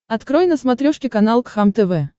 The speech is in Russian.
открой на смотрешке канал кхлм тв